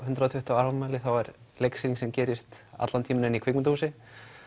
hundrað og tuttugu ára afmæli þá er leiksýning sem gerist allan tímann inn í kvikmyndahúsi